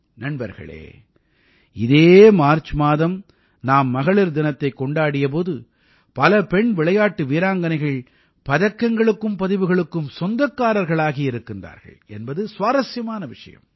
நண்பர்களே இதே மார்ச் மாதம் நாம் மகளிர் தினத்தைக் கொண்டாடிய போது பல பெண் விளையாட்டு வீராங்கனைகள் பதக்கங்களுக்கும் பதிவுகளுக்கும் சொந்தக்காரர்களாகி இருக்கிறார்கள் என்பது சுவாரசியமான விஷயம்